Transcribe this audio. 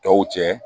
Tɔw cɛ